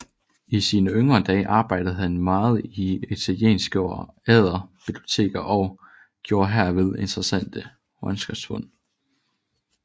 I sine yngre dage arbejdede han meget i italienske og adre biblioteker og gjorde herved interessante håndskriftfund